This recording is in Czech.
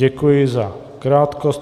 Děkuji za krátkost.